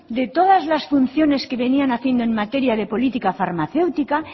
de todas las funciones que venían haciendo en materia de política farmacéutica